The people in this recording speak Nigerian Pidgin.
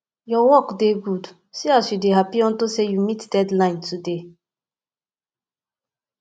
your work dey good see as you dey happy unto say you meet deadline today